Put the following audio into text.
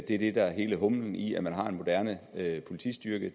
det er det der er hele humlen i at man har en moderne politistyrke